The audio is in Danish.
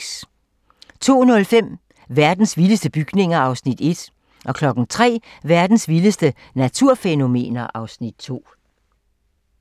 02:05: Verdens vildeste bygninger (Afs. 1) 03:00: Verdens vildeste naturfænomener (Afs. 2)